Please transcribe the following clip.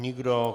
Nikdo.